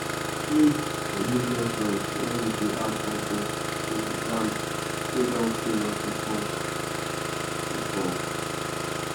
we dey sing forgiveness song when we dey add compost to land wey don fail us before. before..